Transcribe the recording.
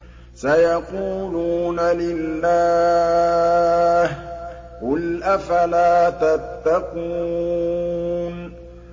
سَيَقُولُونَ لِلَّهِ ۚ قُلْ أَفَلَا تَتَّقُونَ